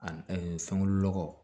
A fɛnkolo nɔgɔ